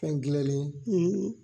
Fɛn gilanlen;